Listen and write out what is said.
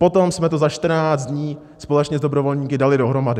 Potom jsme to za 14 dní společně s dobrovolníky dali dohromady.